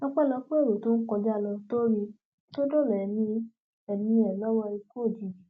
ọpẹlọpẹ èrò tó ń kọjá lọ tó rí i tó dóòlà ẹmí ẹmí ẹ lọwọ ikú òjijì